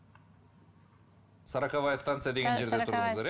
сороковая станция деген жерде